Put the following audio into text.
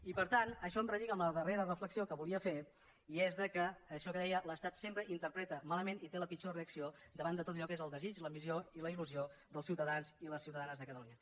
i per tant això em relliga amb la darrera reflexió que volia fer i és que això que deia l’estat sempre interpreta malament i té la pitjor reacció davant de tot allò que és el desig l’ambició i la il·lusió dels ciutadans i ciutadanes de catalunya